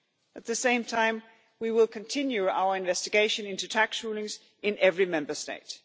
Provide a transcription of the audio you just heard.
At the same time we will continue our investigation into tax rulings in every Member State.